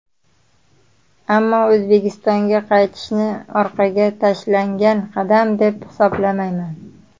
Ammo O‘zbekistonga qaytishni orqaga tashlangan qadam deb hisoblamayman.